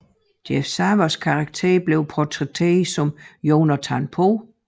Jeff Sarwers karakter blev portrætteret som Jonathan Poe